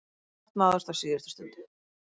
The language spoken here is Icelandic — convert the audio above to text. Sátt náðist á síðustu stundu.